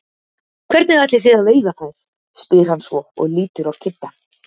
Hvernig ætlið þið að veiða þær? spyr hann svo og lítur á Kidda.